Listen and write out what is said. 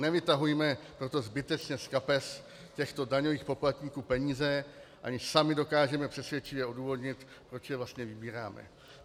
Nevytahujme proto zbytečně z kapes těchto daňových poplatníků peníze, aniž sami dokážeme přesvědčivě odůvodnit, proč je vlastně vybíráme.